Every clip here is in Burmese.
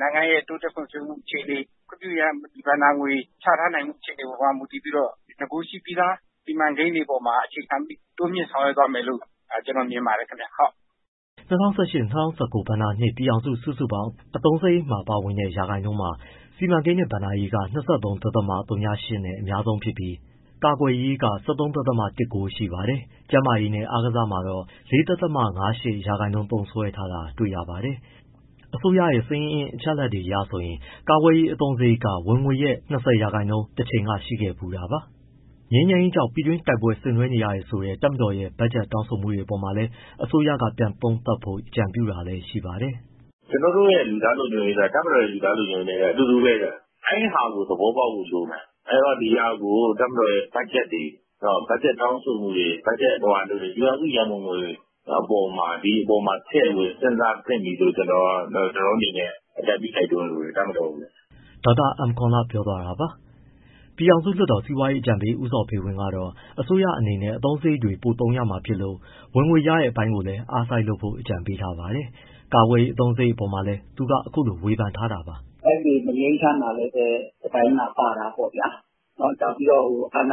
နိုင်ငံရဲ့ တိုးတက်ဖွံ့ဖြိုးမှုအခြေအနေ၊ ခွင့်ပြုအင်အား ဘဏ္ဍာငွေ ချထားနိုင်မှုအခြေအနေမှာ မူတည်ပြီးတော့ နဂိုရှိပြီးသား စီမံကိန်းတွေအပေါ်မှာ အခြေခံပြီး တိုးမြှင့်ဆောင်ရွက်သွားမယ်လို့ ကျနော်မြင်ပါတယ်ခင်ဗျ။” ၂၀၁၈- ၂၀၁၉ ဘဏ္ဍာနှစ် ပြည်ထောင်စု စုစုပေါင်း အသုံးစရိတ်မှာ ပါဝင်တဲ့ ရာခိုင်နှုန်းက စီမံကိန်းနဲ့ဘဏ္ဍာရေးက ၂၃.၀၈ နဲ့ အများဆုံးဖြစ်ပြီး ကာကွယ်ရေးက ၁၃.၁၉ ရှိပါတယ်။ ကျန်းမာရေးနဲ့ အာကစားမှာတော့ ၄.၅၈ ရာခိုင်နှုန်းသုံးစွဲထားတာကို တွေ့ရပါတယ်။ အစိုးရဲ့ ငွေစာရင်းအချက်အလက်အရဆိုရင် ကာကွယ်ရေး အသုံးစရိတ်က ဝင်ငွေရဲ့၂၀% အထိ တချိန်က ရှိခဲ့ဖူးတာပါ။ ငြိမ်းချမ်းရေးကြောင့် ပြည်တွင်း တိုက်ပွဲတွေဆင်နွဲနေရတယ်ဆိုတဲ့ တပ်မတော်ရဲ့ ဘက်ဂျက် တောင်းဆိုမှုတွေ အပေါ်မှာလည်း အစိုးရက ပြန်သုံးသပ်ဖို့ အကြံပြုတာလည်းရှိပါတယ်။ “ ကျနော်တို့ရဲ့ လူသားလုံခြုံရေးက တပ်မတော်ရဲ့ လူသားလုံခြုံရေးနဲ့ အတူတူပဲဗျ၊ အဲဒီဟာကို သဘောပေါက်ဖို့လိုမယ်၊ အဲဒီတော့ တပ်မတော်ရဲ့ဘက်ဂျက်တွေ၊ ဘက်ဂျက်တောင်းဆိုမှုတွေ၊ ပြည်ထောင်စု ရန်ပုံငွေအပေါ်မှာဒီအပေါ်မှာ ထည့်ဝင်စဉ်းစားသင့်ပြီလို့ အကြံပြုတိုက်တွန်းလိုတယ် တပ်မတော်ကိုလည်း။” ဒေါက်တာ အမ်ကောန်လ ပြောသွားတာပါ။ ပြည်ထောင်စုလွှတ်တော် စီးပွားရေးအကြံပေး ဦးဇော်ဖေဝင်း ကတော့ အစိုးရအနေနဲ့ အသုံးစရိတ်တွေ ပိုသုံးရမှာဖြစ်လို့ ဝင်ငွေရမယ့်အပိုင်းကိုလည်း အားစိုက်လုပ်ဖို့ အကြံပေးပါတယ်၊ ကာကွယ်ရေးအသုံးစရိတ် အပေါ်လည်း သူက အခုလိုဝေဖန်ထားပါတယ်။ “ တိုင်းပြည် မငြိမ်းချမ်းတာလည်း ပါတာပေါ့၊ အာဏာပိုင် ပုဂ္ဂိုလ်တွေကလည်း တ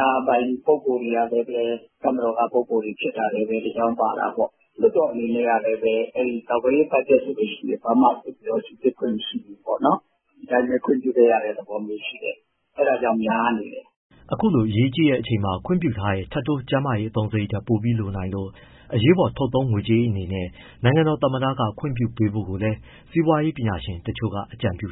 ပ်မတော်က ပုဂ္ဂိုလ်တွေ ဖြစ်တာလည်းပဲ တကြောင်း ပါတာပေါ့။ လွှတ်တော်အနေနဲ့ကလည်း ကာကွယ်ရေး ဘက်ဂျက်ဆိုရင် ဘာမှ စစ်ဆေးခွင့် မရှိဘူးပေါ့နော် ဒီအတိုင်းခွင့်ပြုခဲ့ရတဲ့ သဘောမျိုးရှိတယ်၊ အဲဒါကြောင့် များနေတယ်။” အခုလို အရေးကြီးတဲ့အချိန်မှာ ခွင့်ပြုထားတဲ့ ထပ်တိုး ကျန်းမာရေး အသုံးစရိတ်ထက် ပိုပြီးလိုနိုင်လို့ အရေးပေါ်ထုတ်သုံးငွေကြေးအနေနဲ့ နိုင်ငံတော် သမ္မတက ခွင့်ပြုပေးဖို့လည်း စီးပွားရေး ပညာရှင်တချို့က အကြံပြု